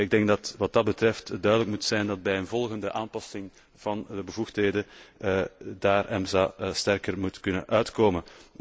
Ik denk dat wat dat betreft duidelijk moet zijn dat EMSA bij een volgende aanpassing van de bevoegdheden daar sterker moet uitkomen.